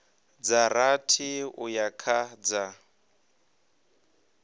dza rathi uya kha dza